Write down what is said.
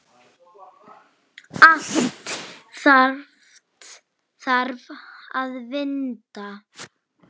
Allt þarf að vinda.